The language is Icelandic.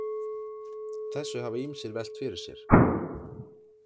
Þessu hafa ýmsir velt fyrir sér.